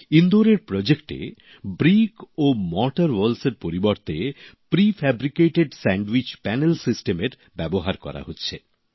ইন্দোরের প্রকল্পে এ ইট ও চুন বালির দেওয়ালের পরিবর্তে প্রিফেব্রিকেটেড স্যান্ডউইচ প্যানেল সিস্টেমের ব্যবহার করা হচ্ছে